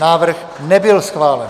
Návrh nebyl schválen.